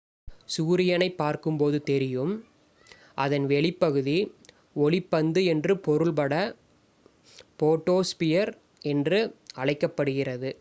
"சூரியனைப் பார்க்கும் போது தெரியும் அதன் வெளிப் பகுதி ஒளிப் பந்து" என்று பொருள் பட போட்டோஸ்பியர் என்று அழைக்கப்படுகிறது.